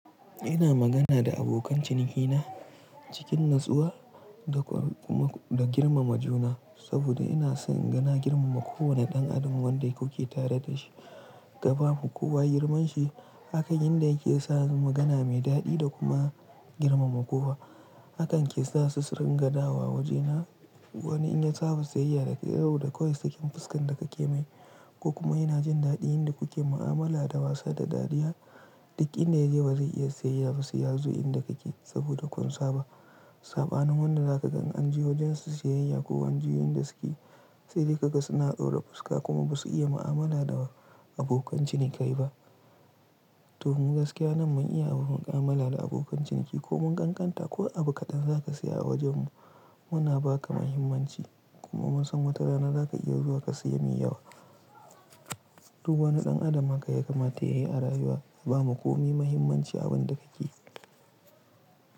Ina magana da abokan cinikina cikin natsuwa da kuma da girmama juna, saboda ina son ina girmama kowane ɗan adam wanda kuke tare da shi. Kaba ma kuwa girman shi, hakan yanda yake sa mu magana mai daɗi da kuma girmama kowa. Hakan ke sa su su ringa dawowa waje na. Wani in ya tsaba siyayya da kai, ya dau da koyaushe cikin fuskan da kake mai. Kuka kuma yana jin daɗi inda kuke mu'amala da wasu da dariya. Duk inda ya je ba zai iya siyayya ba siyazu inda kake saboda kun saba. Saɓanin wanda zaka gan an ji wajen su siyayya ko an ji yanda suke tsere kaga suna ɗaura fuska kuma ba su iya mu'amala da abokan ciniki ba. To mu gaskiya nan mun iya abun mu'amala da abokan ciniki kuma mun ƙanƙanta ko abu kaɗan za ka sayi a wajen mu, muna ba ka mahimmanci kuma mun san watarana za ka iya zuwa ka sayi miyawa Duk wani ɗan adam haka ya kamata ya yi a rayuwa ya ba ma komai mahimmanci abun da kake yi.